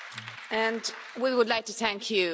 And we would like to thank you.